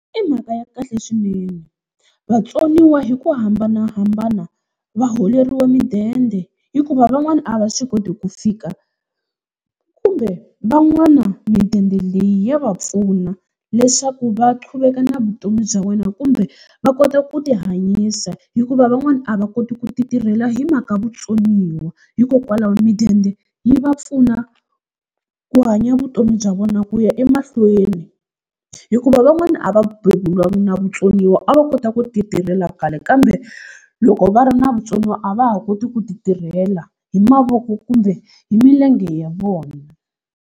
I mhaka ya kahle swinene, vatsoniwa hi ku hambanahambana va holeriwa mudende hikuva van'wana a va swi koti ku fika kumbe van'wana midende leyi ya va pfuna, leswaku va qhuveka na vutomi bya wena kumbe va kota ku tihanyisa hikuva van'wana a va koti ku ti tirhela hi mhaka vutsoniwa. Hikokwalaho midende yi va pfuna ku hanya vutomi bya vona ku ya emahlweni, hikuva van'wana a va beburiwangi na vutsoniwa a va kota ku titirhela khale kambe loko va ri na vutsoniwa a va ha koti ku titirhela hi mavoko kumbe hi milenge ya vona.